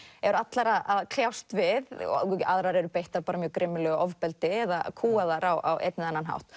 eru allar að kljást við og aðrar eru beittar grimmilegu ofbeldi eða kúgaðar á einn eða annan hátt